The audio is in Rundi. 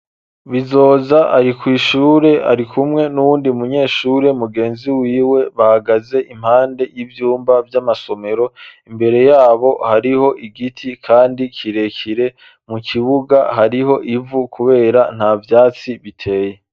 Bizoza ari kwishure ari kumwe n'uwundi munyeshure mugenzi wiwe bahagaze impande y'ivyumba vy'amasomero imbere yabo hariho igiti, kandi kirekire mu kibuga hariho ivu, kubera nta vyatsi biteye.